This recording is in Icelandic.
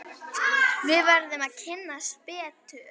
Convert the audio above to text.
Við verðum að kynnast betur.